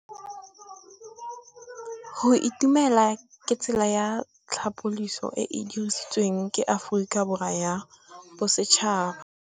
Go itumela ke tsela ya tlhapolisô e e dirisitsweng ke Aforika Borwa ya Bosetšhaba.